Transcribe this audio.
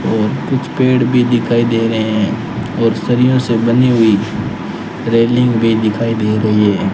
और कुछ पेड़ भी दिखाई दे रहे है और सरियों से बनी हुई रेलिंग भी दिखाई दे रही है।